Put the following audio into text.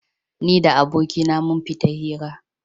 Ni da abokaina mun fita hira.